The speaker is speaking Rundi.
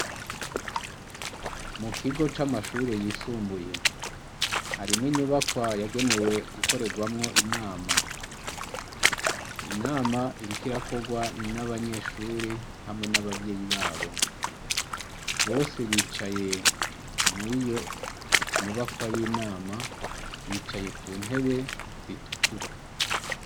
Mu kigo c'amashuri yisumbuye harimw’inyubakwa yagenewe gukorerwamwo inama .Inama irikirakogwa n'abanyeshuri hamwe n'abavyeyi babo ,bose bicaye mwiyo nyubakwa y'inama ,bicaye ku ntebe zitukura.